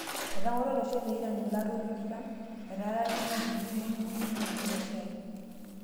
Etang'oro olosho le iran ilaruok tikitam, etaara nemitiki nejing'u neosh impishai